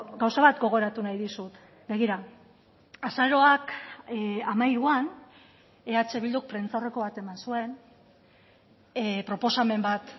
gauza bat gogoratu nahi dizut begira azaroak hamairuan eh bilduk prentsaurreko bat eman zuen proposamen bat